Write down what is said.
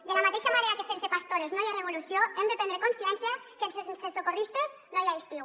de la mateixa manera que sense pastores no hi ha revolució hem de prendre consciència que sense socorristes no hi ha estiu